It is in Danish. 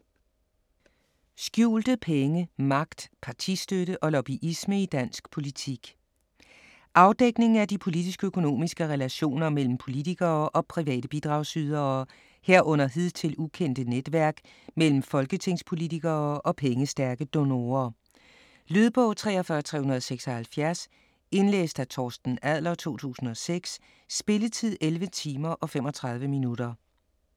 Skjulte penge: magt, partistøtte og lobbyisme i dansk politik Afdækning af de politisk-økonomiske relationer mellem politikere og private bidragsydere, herunder hidtil ukendte netværk mellem folketingspolitikere og pengestærke donorer. Lydbog 43376 Indlæst af Torsten Adler, 2006. Spilletid: 11 timer, 35 minutter.